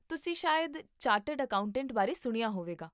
ਤੁਸੀਂ ਸ਼ਾਇਦ chartered accountant ਬਾਰੇ ਸੁਣਿਆ ਹੋਵੇਗਾ?